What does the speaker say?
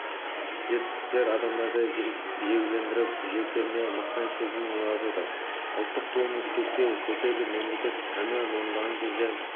жетістіктер адамдарды жігерлендіріп жүректеріне мақтаныш сезімін ұялатады ұлттық туымыз көкке көтеріліп мемлекеттік әнұран орындалған кезде